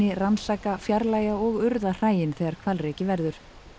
rannsaka fjarlægja og urða hræin þegar hvalreki verður